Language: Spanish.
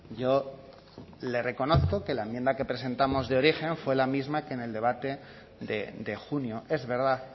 yo le reconozco que la enmienda que presentamos de origen fue la misma que en el debate de junio es verdad